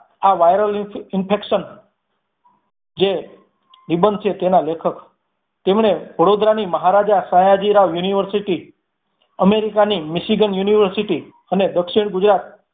આ Viral infection જે નિબંધ છે તેના લેખક તેમણે વડોદરાની મહારાજા સયાજીરાવ university અમેરિકા ની મિશિગન university અને દક્ષિણ ગુજરાત